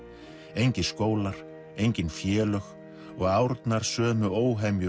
engir skólar engin félög og árnar sömu